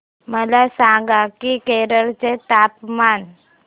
मला सांगा की केरळ चे तापमान